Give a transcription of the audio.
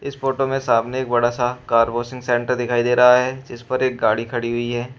इस फोटो में सामने एक बड़ा सा कार वाशिंग सेंटर दिखाई दे रहा है जिस पर एक गाड़ी खड़ी हुई है।